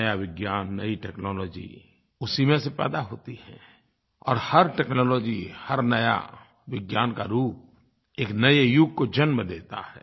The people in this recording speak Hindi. नया विज्ञान नयी टेक्नोलॉजी उसी में से पैदा होती है और हर टेक्नोलॉजी हर नया विज्ञान का रूप एक नये युग को जन्म देता है